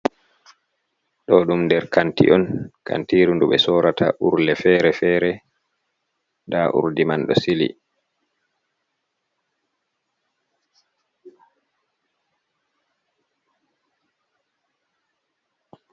Ɗo ɗum nder kanti on. kantiru ndu ɓe sorata urle fere-fere. Nda urdi man do sili.